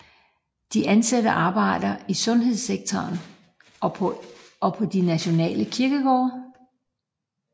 De anstatte arbejder i sundhedssektoren og på de nationale kirkegårde